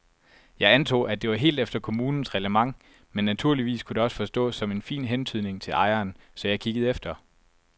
Jeg antog, at det var helt efter kommunens reglement men naturligvis kunne det også forstås som en fin hentydning til ejeren, så jeg kiggede efter.